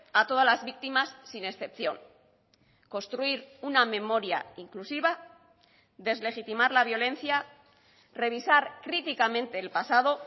a todas las víctimas sin excepción construir una memoria inclusiva deslegitimar la violencia revisar críticamente el pasado